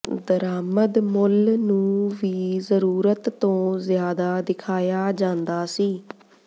ਦਰਾਮਦ ਮੁੱਲ ਨੂੰ ਵੀ ਜ਼ਰੂਰਤ ਤੋਂ ਜ਼ਿਆਦਾ ਦਿਖਾਇਆ ਜਾਂਦਾ ਸੀ